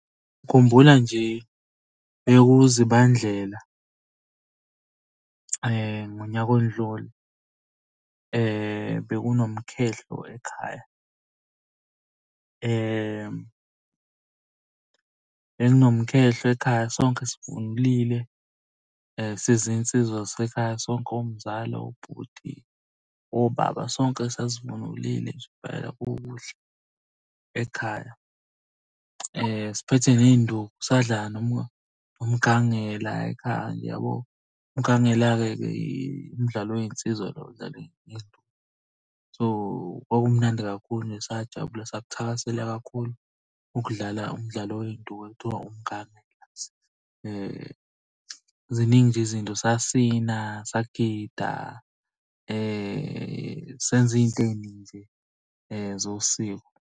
Ngikhumbula nje kuwuZibandlela ngoyaka odlule. Bekunomkhehlo ekhaya. Bekunomkhehlo ekhaya sonke sivunulile sizinsizwa zasekhaya sonke omzala, obhuti, obaba. Sonke sasivunulile nje impela kukuhle ekhaya. Siphethe ney'nduku, sadlala noma umgangela ekhaya yabo. Umgangela-ke ke umdlalo wey'nsizwa lo . So, kwakumnandi kakhulu nje sajabula sakuthakasela kakhulu ukudlala umdlalo wey'nduku ekuthiwa umgangela. Ziningi nje izinto, sasina, sagida, senza iy'nto ey'ningi nje zosiko.